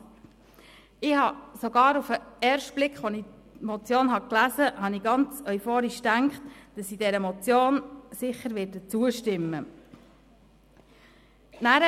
Ich habe sogar beim ersten Lesen der Motion ganz euphorisch gedacht, dass ich dieser sicher zustimmen werde.